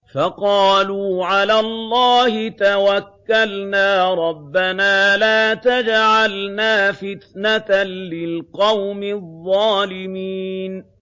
فَقَالُوا عَلَى اللَّهِ تَوَكَّلْنَا رَبَّنَا لَا تَجْعَلْنَا فِتْنَةً لِّلْقَوْمِ الظَّالِمِينَ